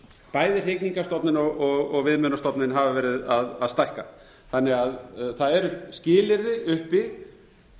bæði hrygningarstofninn og viðmiðunarstofninn hafa verið að stækka þannig að það eru skilyrði uppi